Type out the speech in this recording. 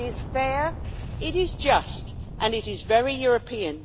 It is fair, it is just, and it is very European.